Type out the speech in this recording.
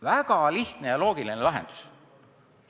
" Väga lihtne ja loogiline lahendus!